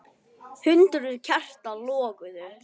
Hundruð kerta loguðu.